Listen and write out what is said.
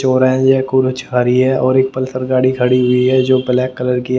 चौराहा है खाली है और एक पल्सर गाड़ी खड़ी हुई है जो ब्लैक कलर की है।